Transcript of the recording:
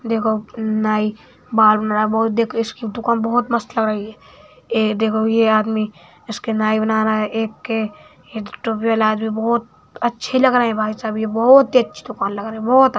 देखो नाई बाल बना रा बहुत देखो इसकी दुकान बहुत मस्त लग रही है ए देखो ये आदमी इसकी नाई बना रहा है एक के टोपी वाला आदमी बहुत अच्छे लग रहे भाईसाहब ये बहुत ही अच्छी दुकान लग रही बहुत --